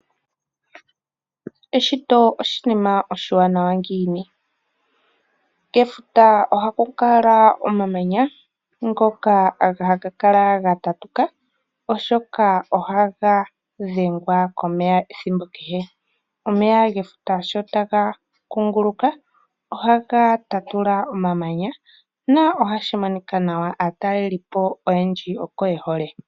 Eshito oshinima oshiwanawa ngiini! Kefuta ohakukala omamanya ngoka haga kala ga tatuka oshoka ohaga dhengwa komeya ethimbo kehe. Omeya gefuta sho taga kunguluka ohaga tatula omamanya na ohashi monika nawa, aatalelipo oyendji oko yehole.